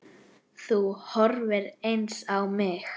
Þú horfir eins á mig.